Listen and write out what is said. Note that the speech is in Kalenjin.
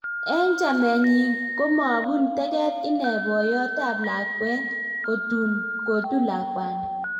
Eng chamet nyii komapuun teget inee poyot ap lakwen kotun lakwani